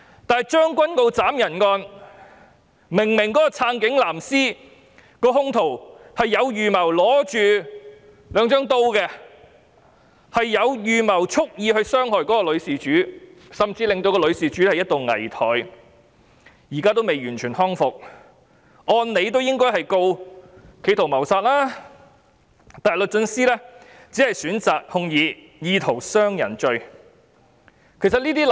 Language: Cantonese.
但是，將軍澳斬人案，支持警察的"藍絲"兇徒手持兩把刀蓄意傷害女事主，甚至令女事主一度危殆，現在仍未完全康復，按理應該控告他企圖謀殺，但律政司只是選擇控以意圖傷人罪。